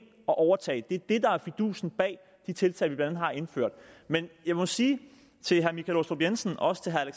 og overtage dem det er det der er fidusen bag de tiltag vi blandt andet har indført men jeg må sige til herre michael aastrup jensen og også til herre